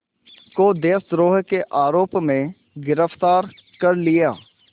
को देशद्रोह के आरोप में गिरफ़्तार कर लिया